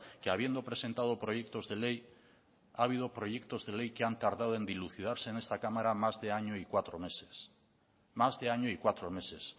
que habiendo presentado proyectos de ley ha habido proyectos de ley que han tardado en dilucidarse en esta cámara más de año y cuatro meses más de año y cuatro meses